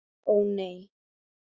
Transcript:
Ó, nei.